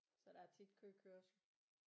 Så der er tit køkørsel